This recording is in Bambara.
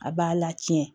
A b'a la tiɲɛ